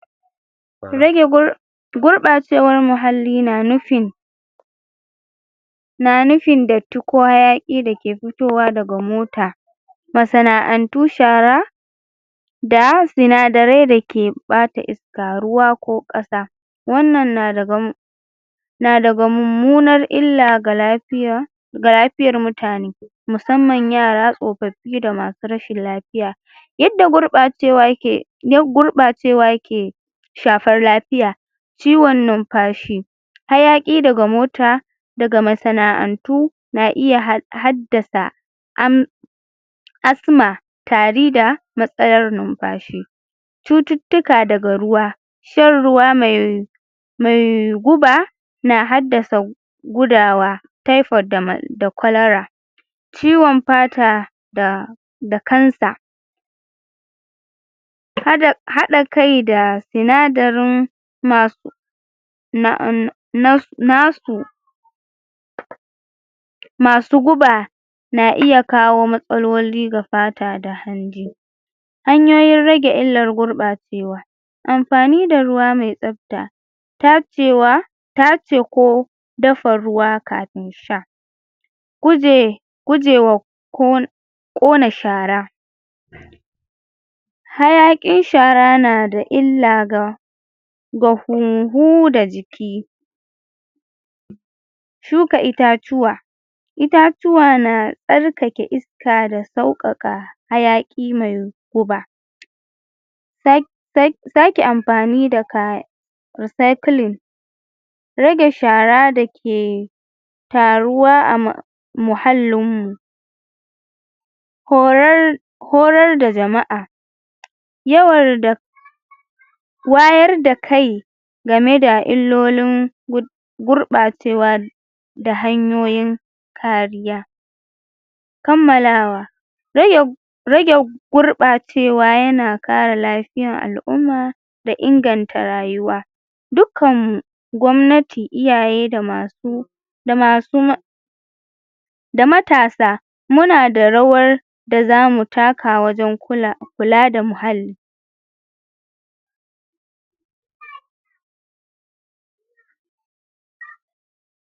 gurbacewan muhalli na nufin na nufin dattin ko hayaki dake fitowa daga mota masana'antu shara da sinadarai dake bata iska ruwa ko kasa wannan na dabam na daga mumunar illa ga lafiya ga lafiyar mutane musamman yara, tsofofi da masu rashin lafiya yadda gurbacewa yake (????)gurbacewa yake shafar lafiya ciwon numfashi hayaki daga mota daga masana'antu na iya had haddasa na iya had haddasa am amm asthma tari da masayar numfashi cututtuka daga ruwa shan ruwa mai mai guba na haddasa gudawa typhoid da cholera ciwon fata da da kansa hada hadakai da sinadarin (?????) na'am na nasu masu guba na iya kawo matsaloli ga fata da hanji hanyoyin rage illar gurɓacewa amfani da ruwa mai tsafta tacewa tace ko dafa ruwa kafin sha guje guje wa kon kona shara hayakin shara nada illa ga ga humhu da jiki shuka itatuwa itatuwa na tsarkake iska da saukaka hayaki mai guba tak tak take amfani da kaya re cycling rage shara dake taruwa a ma muhallinmu korar korar da jama'a yawarda wayarda kai gameda illolin gud gurbacewa da hanyoyi kariya kammalawa rage rage gurbacewa yana kara lafiyan al'umma da inganta rayuwa dukkan gwamnati iyaye da masu da masu ma da matasa munada rawar dazaamu taka wajan kula kulada muhalli